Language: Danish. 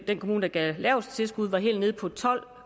den kommune der gav det laveste tilskud var helt nede på